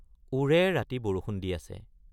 ওৰে ৰাতি বৰষুণ দি আছে।